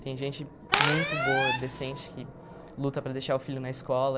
Tem gente muito boa, decente, que luta para deixar o filho na escola.